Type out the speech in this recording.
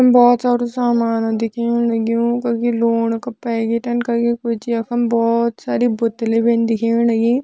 बहोत सारू सामान दिखेण लग्युं कखि लोण का पैकेट कखि कुछ यखम बहोत सारी बोत्तली भी दिखेण लगीं।